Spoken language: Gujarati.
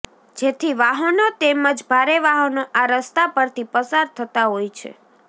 જેથી વાહનો તેમજ ભારે વાહનો આ રસ્તા પરથી પસાર થતા હોય છે